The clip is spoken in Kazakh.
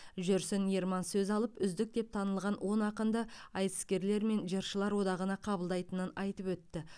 жүрсін ерман сөз алып үздік деп танылған он ақынды айтыскерлер мен жыршылар одағына қабылдайтынын айтып өтті